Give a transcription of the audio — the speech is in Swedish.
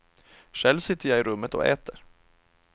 Själv sitter jag i rummet och äter.